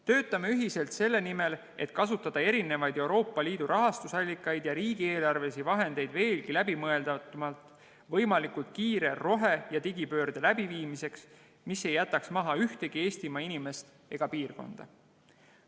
Töötame ühiselt selle nimel, et kasutada erinevaid Euroopa Liidu rahastusallikaid ja riigieelarvelisi vahendeid veelgi läbimõeldumalt võimalikult kiire rohe- ja digipöörde läbiviimiseks, mis ei jätaks maha ühtegi Eestimaa inimest ega piirkonda.